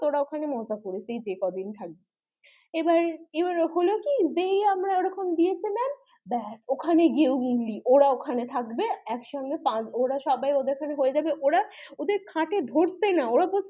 তোরা ওখানে মজা করবি যেই কদিন থাকবি এবার এবার হলো কি যেই আমরা ওরকম দিয়েছে মামা ব্যাস ওখানে গিয়েও উংলি ওরা ওখানে গিয়ে থাকবে ওদের সবার খাট এ হয়ে যাবে ওদের খাট এ ধরছেনা